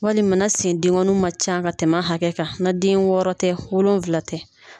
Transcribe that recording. Walima na sen dengɔnninw man ca ka tɛmɛ a hakɛ kan na den wɔɔrɔ tɛ wolonfila tɛ.